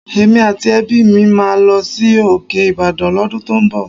Èmi àti ẹbí mi máa lọ sí òkè Ìbàdàn l'ọ́dún tó ń bọ̀